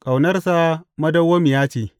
Ƙaunarsa madawwamiya ce.